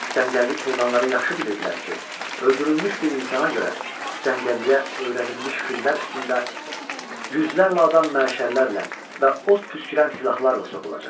Cəngəllik heyvanları yaxşı bilirdilər ki, öldürülmüş bir insana görə cəngəlliyə öyrədilmiş fillər üstündə yüzlərlə adam məşəllərlə və od püskürən silahlarla sokulacaq.